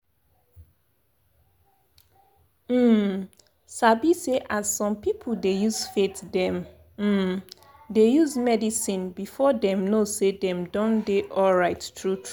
um sabi say as som people dey use faith them um dey use medicine before dem know say dem don dey alrght true true